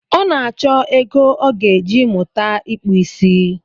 Ọ na-achọ ego ọ ga-eji mụta ịkpụ isi